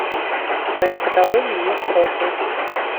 в твоем каталоге есть рокки